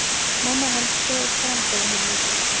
Mamma hans greip fram í fyrir henni.